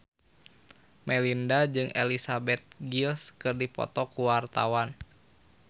Melinda jeung Elizabeth Gillies keur dipoto ku wartawan